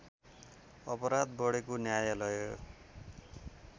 अपराध बढेको न्यायलय